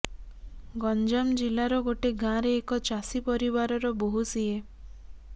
ଗଞ୍ଜାମ ଜିଲ୍ଲାର ଗୋଟେ ଗାଁରେ ଏକ ଚାଷୀ ପରିବାରର ବୋହୂ ସିଏ